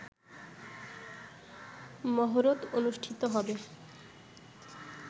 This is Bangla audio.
মহরত অনুষ্ঠিত হবে